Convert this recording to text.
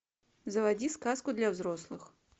заводи сказку для взрослых